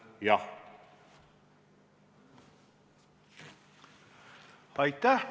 Aitäh!